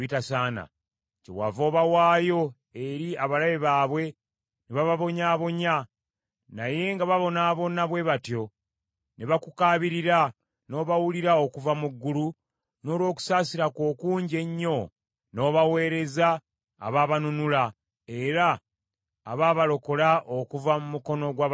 Kyewava obawaayo eri abalabe baabwe ne bababonyaabonya. Naye nga babonaabona bwe batyo, ne bakukaabirira, n’obawulira okuva mu ggulu, n’olw’okusaasira kwo okungi ennyo n’obaweereza abaabanunula era abaabalokola okuva mu mukono gw’abalabe baabwe.